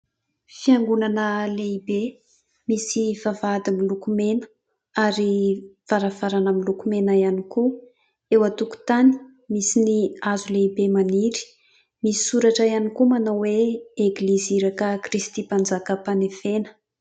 Fiangonana lehibe misy vavahady miloko mena ary varavarana miloko mena ihany koa, eo an-tokotany misy ny hazo lehibe maniry, misy soratra ihany koa manao hoe :" Eglizy Iraka Kristy Mpanjaka Ampanefena ".